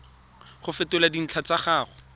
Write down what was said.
go fetola dintlha tsa gago